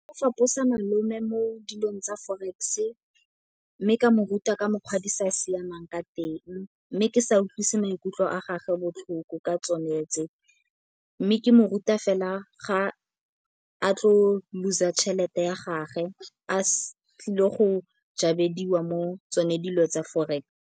O faposa malome mo dilong tsa forex mme ka mo ruta ka mokgwa di sa siamang ka teng mme ke sa utlwise maikutlo a gagwe botlhoko ka tsone tse. Mme ke mo ruta fela ga a tlo lose-a tšhelete ya gage a tlile go jarediwa mo tsone dilo tsa forex.